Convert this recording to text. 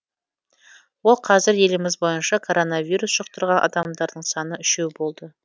ол қазір еліміз бойынша коронавирус жұқтырған адамдардың саны үшеу болды